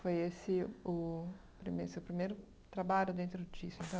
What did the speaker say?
Foi esse o prime seu primeiro trabalho dentro disso, então?